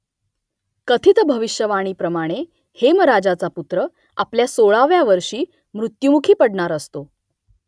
कथित भविष्यवाणीप्रमाणे हेमराजाचा पुत्र आपल्या सोळाव्या वर्षी मृत्युमुखी पडणार असतो